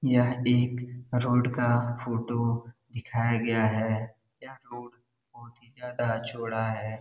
यह एक रोड का फोटो दिखाया गया है यह रोड बहुत ही जादा चोड़ा है।